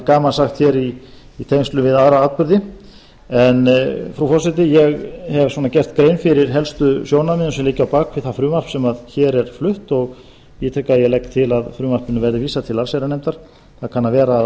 gamans sagt hér í tengslum við aðra atburði en frú forseti ég hef svona gert grein fyrir helstu sjónarmiðum sem liggja á bak við það frumvarp sem hér er flutt og ég legg til að frumvarpinu verði vísað til allsherjarnefndar það kann að vera að